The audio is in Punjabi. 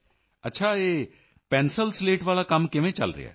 ਅੱਛਾ ਇਹ ਪੈਨਸਲਸਲੇਟਸ ਵਾਲਾ ਕੰਮ ਕਿਵੇਂ ਚਲ ਰਿਹਾ ਹੈ